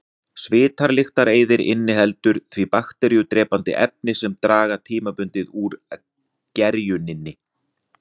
Svitalyktareyðir inniheldur því bakteríudrepandi efni sem draga tímabundið úr gerjuninni.